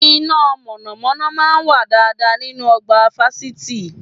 Iná mọ̀nàmọ́ná máa ń wà dáadáa nínú ọgbà fásitì